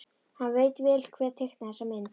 Hann veit vel hver teiknaði þessa mynd.